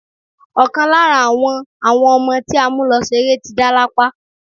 Ọ̀kan lára àwọn àwọn ọmọ tí a mú lọ ṣeré ti dá lápá.